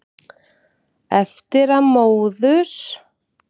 Eftir að móður